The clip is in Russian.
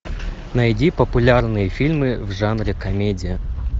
найди популярные фильмы в жанре комедия